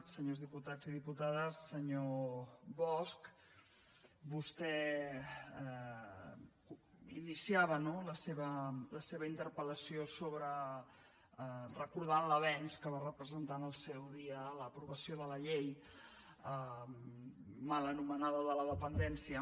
senyors diputats i diputades senyor bosch vostè iniciava no la seva interpel·lació recordant l’avenç que va representar en el seu dia l’aprovació de la llei mal anomenada de la dependència